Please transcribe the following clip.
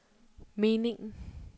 meningen